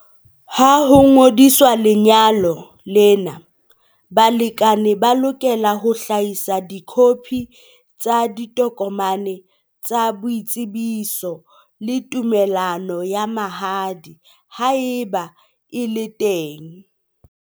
Ha ho ngodiswa lenyalo lena, balekane ba lokela ho hlahisa dikhophi tsa ditokomane tsa boitsebiso le tumellano ya mahadi, haeba e le teng.